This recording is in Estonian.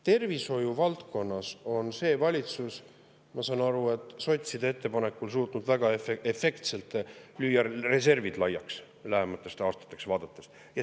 Tervishoiu valdkonnas on see valitsus – ma saan aru, et sotside ettepanekul – suutnud väga efektselt reservid lähemateks aastateks laiaks lüüa.